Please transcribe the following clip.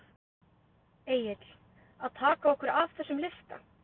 Egill: Að taka okkur af þessum lista?